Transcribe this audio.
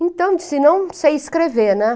Então, eu disse, não sei escrever, né?